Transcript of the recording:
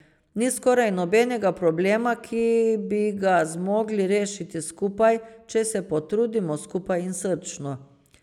Ni skoraj nobenega problema, ki bi ga zmogli rešiti skupaj, če se potrudimo skupaj in srčno.